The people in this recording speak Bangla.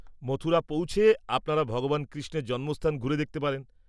-মথুরা পৌঁছে আপনারা ভগবান কৃষ্ণের জন্মস্থান ঘুরে দেখতে পারেন।